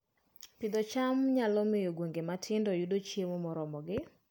Pidho cham nyalo miyo gwenge matindo oyud chiemo moromogi